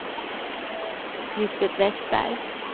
Lisbet Westberg